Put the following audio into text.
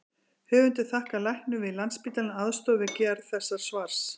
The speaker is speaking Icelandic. Höfundar þakkar læknum við Landspítalann aðstoð við gerð þessa svars.